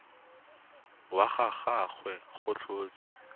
wa ga gagwe go tlhotswe